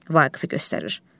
Vaqifi göstərir.